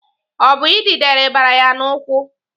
Ọ bụ idide ribara ya n'ụkwụ?